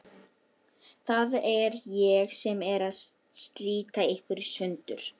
Það er ég sem er að slíta ykkur í sundur.